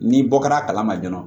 N'i bɔ kɛra a kalama joona